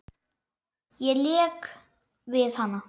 Lék við hana.